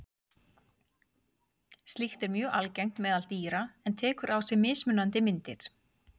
Slíkt er mjög algengt meðal dýra en tekur á sig mismunandi myndir.